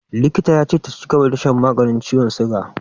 Likita ya ce ta cigaba da shan maganin ciwon siga.